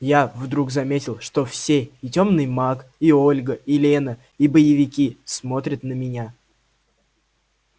я вдруг заметил что все и тёмный маг и ольга и лена и боевики смотрят на меня